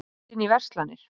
Brotist inn í verslanir